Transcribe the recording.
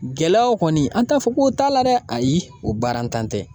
Gɛlɛyaw kɔni an t'a fɔ ko o t'a la dɛ ayi o baarantan tɛ